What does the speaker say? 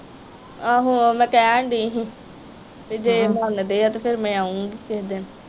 ਆਹੋ ਮੈ ਕਹਿਣ ਦੀ ਹੀ ਤੇ ਜੇ ਮੰਨਦੇ ਆ ਤੇ ਫਿਰ ਮੈ ਆਉਗੀ ਕਿਹੇ ਦਿਨ।